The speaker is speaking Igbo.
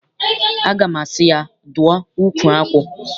Aga m asị ya, dụọ ukwu akwụ!